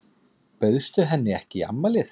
Bauðstu henni ekki í afmælið?